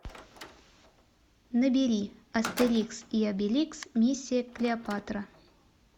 набери астерикс и обеликс миссия клеопатра